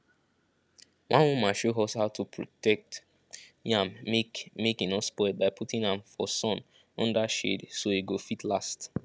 one woman show us how to protect yam make make he no spoil by putting am for sun under shade so he go fit last